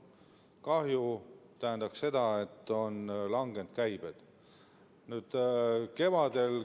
Kahju tähendab seda, et käibed on langenud.